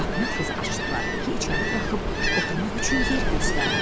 Qapını tez açdılar, Heki içəri buraxıb oturmaq üçün yer göstərdilər.